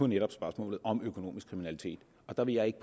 netop spørgsmålet om økonomisk kriminalitet der vil jeg ikke